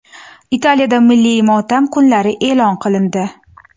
Italiyada milliy motam kunlari e’lon qilindi.